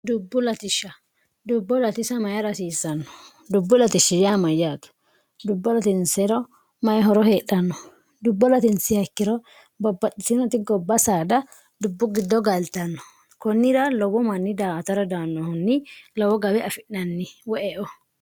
dubbu latishsha dubbo latisa mayi rasiisanno dubbu latishshiamayyaato dubbo latinsero mayi horo heedhanno dubbo latinsihakkiro babbaxxisinoti gobba saada dubbu giddo gailtanno kunnira lowo manni daata radaannohunni lowo gawe afi'nanni woe o